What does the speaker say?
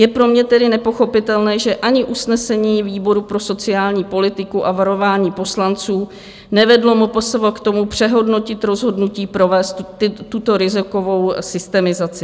Je pro mě tedy nepochopitelné, že ani usnesení výboru pro sociální politiku a varování poslanců nevedlo MPSV k tomu, přehodnotit rozhodnutí provést tuto rizikovou systemizaci.